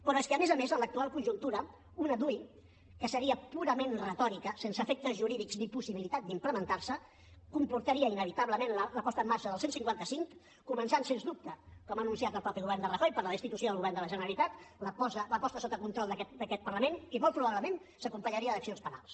però és que a més a més en l’actual conjuntura una dui que seria purament retòrica sense efectes jurídics ni possibilitat d’implementar se comportaria inevitablement la posada en marxa del cent i cinquanta cinc començant sens dubte com ha anunciat el mateix govern de rajoy per la destitució del govern de la generalitat la posada sota control d’aquest parlament i molt probablement s’acompanyaria d’accions penals